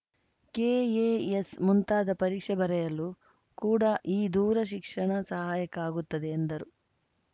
KAS ಮುಂತಾದ ಪರೀಕ್ಷೆ ಬರೆಯಲು ಕೂಡ ಈ ದೂರ ಶಿಕ್ಷಣ ಸಹಾಯಕ ಆಗುತ್ತದೆ ಎಂದರು